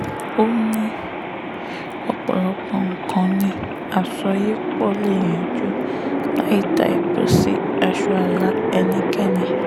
ó ní ọ̀pọ̀lọpọ̀ nǹkan ni àsọyépọ̀ lè yanjú láì ta epo sí aṣọ ààlà ẹnikẹ́ni